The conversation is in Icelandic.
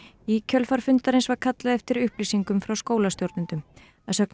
í kjölfar fundarins var kallað eftir upplýsingum frá skólastjórnendum að sögn